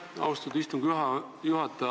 Aitäh, austatud istungi juhataja!